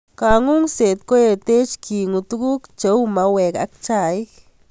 Kangungset ko etech ke ng'uu tukuk ku mauek anan chaik.